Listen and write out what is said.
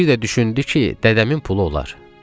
Bir də düşündü ki, dədəmin pulu olar.